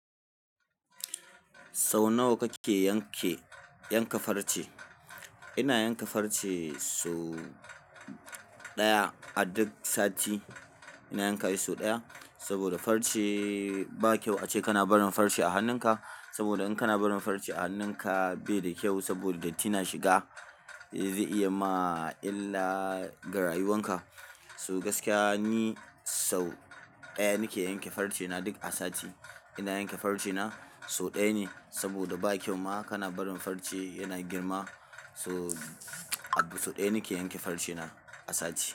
Sau nawa kake yanke, yanka farce? Ina yanka farce so ɗaya a duk sati. Ina yanka shi so ɗaya, saboda farce bakyau ace kana barin farce ahannun ka saboda in kana barin farce a hannunka bai da kyau saboda datti na shiga. Zai iya ma illa ga rayuwanka. So gaskiya ni sau ɗaya nake yanke farce na duk sati. Ina yanke farce na so ɗaya ne saboda ba kyau ma kana barin farce yana girma. To so ɗaya nake yanke farce na a sati.